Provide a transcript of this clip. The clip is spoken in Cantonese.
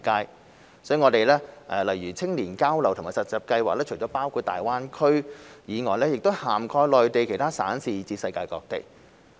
因此，我們的青年交流和實習計劃除了包括大灣區，更涵蓋內地其他省市以至世界各地。